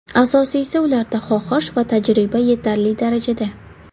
Asosiysi, ularda xohish va tajriba yetarli darajada.